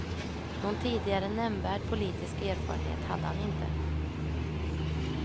Någon tidigare nämnvärd politisk erfarenhet hade han inte.